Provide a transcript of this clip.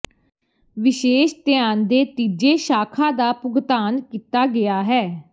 ਵਿਸ਼ੇਸ਼ ਧਿਆਨ ਦੇ ਤੀਜੇ ਸ਼ਾਖਾ ਦਾ ਭੁਗਤਾਨ ਕੀਤਾ ਗਿਆ ਹੈ